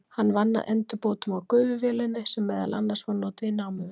Hann vann að endurbótum á gufuvélinni sem meðal annars var notuð í námuvinnu.